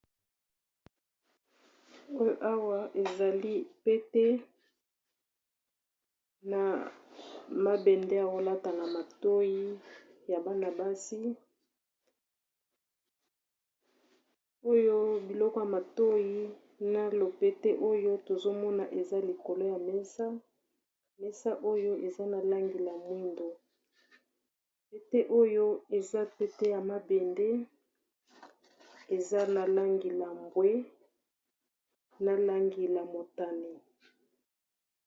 Awa ezali pete ya mabende azolata na matoyi ya bana basi oyo biloko ya matoyi na lopete oyo tozomona eza likolo ya mesa, mesa oyo eza na langi ya mwindo, pete ya mabende eza na langi ya mbwe na motane.